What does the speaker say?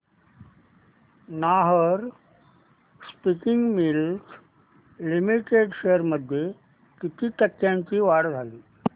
Nahar spinning mills limited shares मध्ये किती टक्क्यांची वाढ झाली